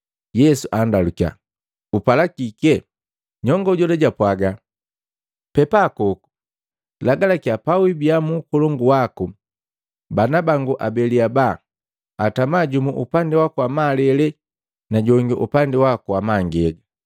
Yesu anndalukia, “Upala kike?” Nyongo jola jwapwaga, “Pepakoku, lagalakiya pawiibia mu ukolongu waku, bana bangu abeli abaa atama jumu upandi waku wa malele na jongi upandi waku wa mangega.”